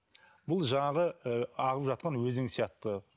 бұл жаңағы ыыы ағып жатқан өзен сияқты